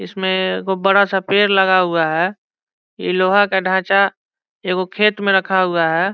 इसमें वो बड़ा सा पेड़ लगा हुआ है ये लोहा का ढांचा ए गो खेत में रखा हुआ है।